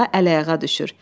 Həmidə xala əl-ayağa düşür.